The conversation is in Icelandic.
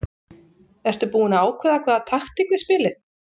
Ertu búinn að ákveða hvaða taktík þið spilið?